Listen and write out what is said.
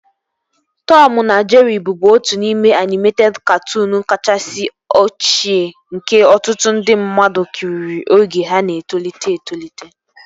Tọmu na Jerịị bụbu otu n'ime anịmeted katụụnu kachasị ochie nke ọtụtụ ndị mmadụ kiriri oge ha na-etolite etolite